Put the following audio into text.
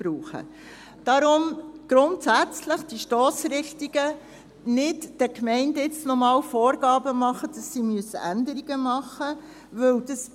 Deshalb: Grundsätzlich die Stossrichtung, dass den Gemeinden nicht noch einmal Vorgaben gemacht werden und diese Änderungen machen müssen.